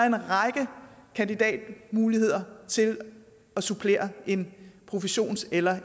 en række kandidatmuligheder til at supplere en professions eller